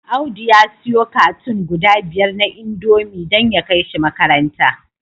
Audu ya siyo cartoon guda biyar na indomie dan ya kaishi makaranta